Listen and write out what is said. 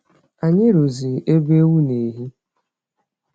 Anyị rụzụ ebe ewu n'ehi.